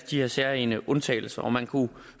de her særegne undtagelser man kunne